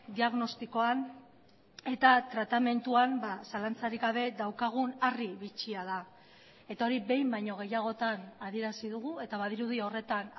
diagnostikoan eta tratamenduan zalantzarik gabe daukagun harri bitxia da eta hori behin baino gehiagotan adierazi dugu eta badirudi horretan